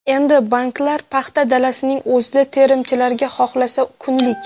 Endi banklar paxta dalasining o‘zida terimchilarga xohlasa kunlik.